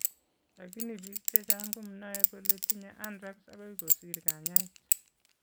Lakini biik chechang' komnoe kole tinye anthrax akoi kosiir kanyaeet